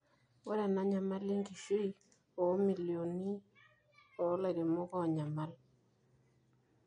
ore ena nyamali enkishui oomilioni oolairemok oonyamal